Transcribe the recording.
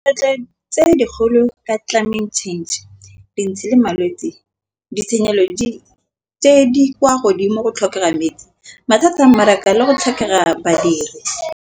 Tse dikgolo ka climate change dintsi le malwetsi ditshenyegelo tse di kwa godimo go tlhokega metsi. Mathata a mmaraka le go tlhokega badiri.